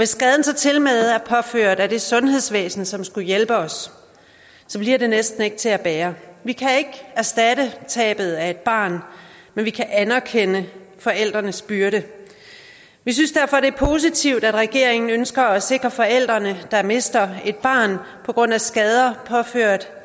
skaden så tilmed er påført af det sundhedsvæsen som skulle hjælpe os bliver det næsten ikke til at bære vi kan ikke erstatte tabet af et barn men vi kan anerkende forældrenes byrde vi synes derfor det er positivt at regeringen ønsker at sikre forældre der mister et barn på grund af skader påført